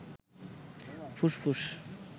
ফুসফুস